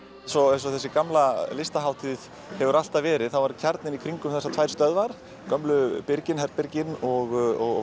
eins og þessi gamla listahátíð hefur alltaf verið þá er kjarninn í kringum þessar tvær stöðvar gömlu herbyrgin og